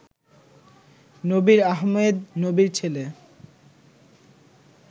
নবীর আহমেদ নবীর ছেল